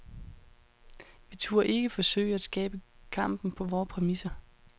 Vi turde ikke forsøge at skabe kampen på vore præmisser.